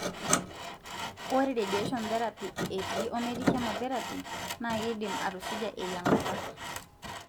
ore radiation therapy eti ometii chemotherapy na kindim atusuja eyiangata.